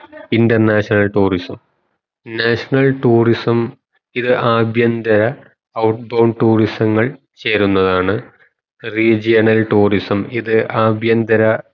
international tourism national tourism ഇത് ആഭ്യന്തര out bound tourism ങ്ങൾ ചേരുന്നതാണ് regional tourism ഇത് ആഭ്യന്തര